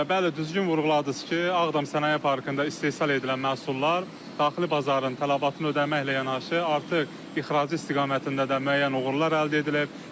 Bəli, düzgün vurğuladınız ki, Ağdam Sənaye Parkında istehsal edilən məhsullar daxili bazarın tələbatını ödəməklə yanaşı, artıq ixrac istiqamətində də müəyyən uğurlar əldə edilib.